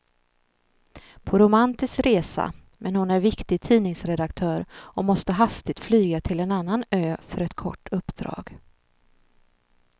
På romantisk resa, men hon är viktig tidningsredaktör och måste hastigt flyga till en annan ö för ett kort uppdrag.